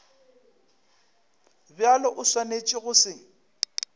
bjalo o swanetše go se